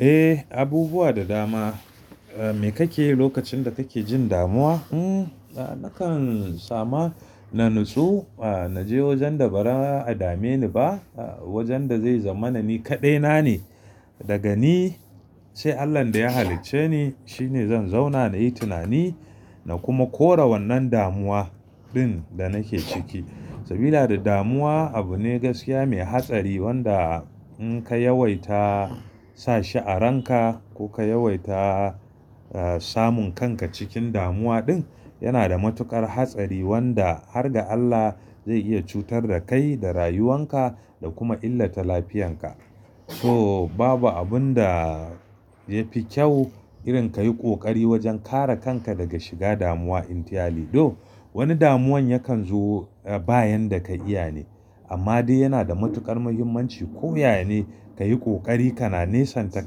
Eh, abubuwa da dama. Me kake yi lokacin da kake jin damuwa? Hmm, nakan sama na nutsu. Na je wajen da baza a dame ni ba, wajen da zai zama na ni kaɗai na ne. Daga ni, sai Allah da ya halicce ni, shi ne zan zauna na yi tunani na kuma kore wannan damuwa ɗin da nake ciki. Sabida damuwa abu ne gaskiya mai hatsari wanda in ka yawaita sa shi a ranka ko ka yawaita samun kanka cikin damuwa ɗin, yana da matuƙar hatsari wanda har ga Allah zai iya cutar da kai da rayuwan ka da kuma illata lafiyan ka. So babu abun da ya fi kyau irin ka yi ƙoƙari wajen kare kanka daga shiga damuwa entirely. To wani damuwan yakan zo bayan da ka iya ne. Amma dai yana da matuƙar muhimmanci ko ya yane ka yi ƙoƙari ka na nesanta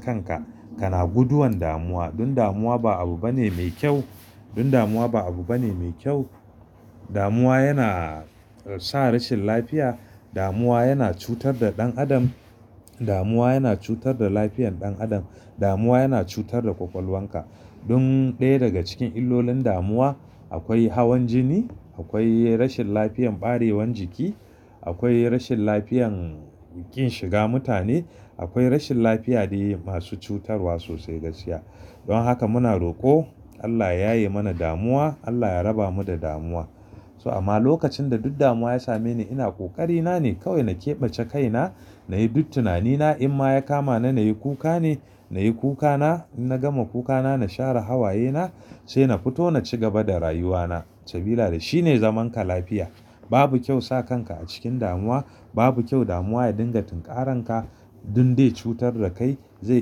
kanka, ka na guduwan damuwa. Don damuwa ba abu bane mai kyau. Don damuwa ba abu bane mai kyau. Damuwa yana sa rashin lafiya. Damuwa yana cutar da ɗan adam. Damuwa yana cutar da lafiyan ɗan adam. Damuwa yana cutar da ƙwaƙwalwan ka. Dun ɗaya daga cikin illolin damuwa akwai hawan jini, akwai rashin lafiyan ɓarewan jiki, akwai rashin lafiyan ƙin shiga mutane, akwai rashin lafiya dai masu cutarwa sosai gaskiya. Don haka muna roƙo Allah ya yaye mana damuwa, Allah ya raba mu da damuwa. So amma lokacin da duk damuwa ya same ni, ina ƙoƙari na ne kawai na keɓace kaina, na yi duk tunani na. In ma ya kama na nayi kuka ne, na yi kuka na. In na gama kuka na, na share hawaye na sai na fito na ci gaba da rayuwa na. Sabida shi ne zaman ka lafiya. Babu kyau sa kanka a cikin damuwa. Babu kyau damuwa ya dinga tunkaranka dun dai cutar da kai, zai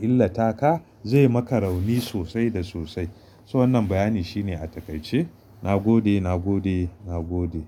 illata ka, zai maka rauni sosai da sosai. So wannan bayani shine a takaice. Na gode. Na gode. Na gode.